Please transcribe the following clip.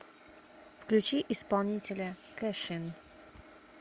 включи исполнителя кэшин